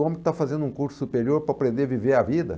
O homem que está fazendo um curso superior para aprender a viver a vida.